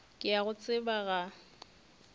ke a go tseba ga